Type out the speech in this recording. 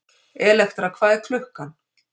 Elektra, hvað er klukkan?